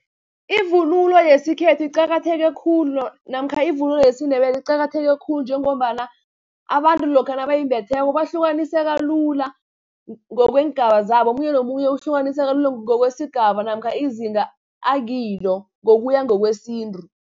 Ivunulo yesikhethu iqakatheke khulu, namkha ivunulo yesiNdebele iqakatheke khulu, njengombana abantu lokha nabayimbetheko, bahlukanisela lula, ngokweengeba zabo. Omunye nomunye ukuhlukaniseka lula, ngokwesigaba namkha izinga akilo ngokuya ngokwesintu.